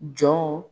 Jɔnw